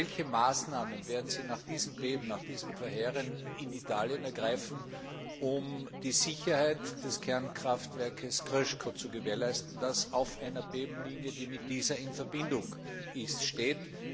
Welche Maßnahmen werden Sie nach diesem verheerenden Erdbeben in Italien ergreifen, um die Sicherheit des Kernkraftwerks Krško zu gewährleisten, das auf einer Erdbebenlinie, die mit dieser in Verbindung ist, steht?